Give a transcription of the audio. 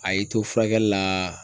A y'i to furakɛli laaa